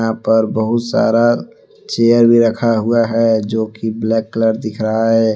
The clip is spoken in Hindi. पर बहुत सारा चेयर भी रखा हुआ है जोकि ब्लैक कलर दिख रहा है।